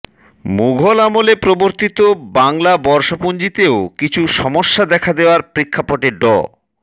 মুঘল আমলে প্রবর্তিত বাংলা বর্ষপুঞ্জিতেও কিছু সমস্যা দেখা দেয়ার প্রেক্ষাপটে ড